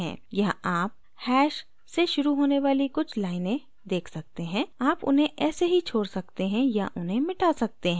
यहाँ आप hash से शुरू होने वाली कुछ लाइनें देख सकते हैं आप उन्हें ऐसे ही छोड़ सकते हैं या उन्हें मिटा सकते हैं